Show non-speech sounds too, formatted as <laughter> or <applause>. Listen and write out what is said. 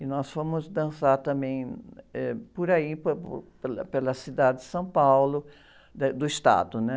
E nós fomos dançar também, eh, por aí, por, <unintelligible> pela, pela cidade de São Paulo, <unintelligible> do estado, né?